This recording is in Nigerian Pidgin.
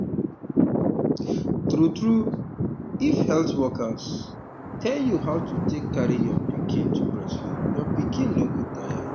um true true um if health workers um tell you how to take carry your pikin to breastfeed your pikin no go tire you